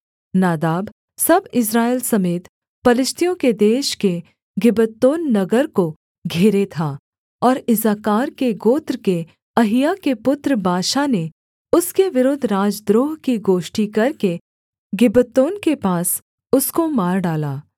नादाब सब इस्राएल समेत पलिश्तियों के देश के गिब्बतोन नगर को घेरे था और इस्साकार के गोत्र के अहिय्याह के पुत्र बाशा ने उसके विरुद्ध राजद्रोह की गोष्ठी करके गिब्बतोन के पास उसको मार डाला